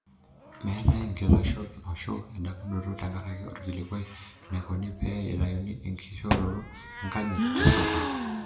'Metae nkitashot ashu endamunoto tenkaraki orkilikwai enaikoni pee etayuni ekishoroto enkanyit tesukul.